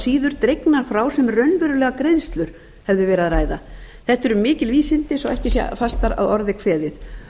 síður dregnar frá sem um raunverulegar greiðslur hefði verið að ræða þetta eru mikil vísindi svo ekki sé fastar að orði kveðið